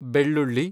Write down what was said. ಬೆಳ್ಳುಳ್ಳಿ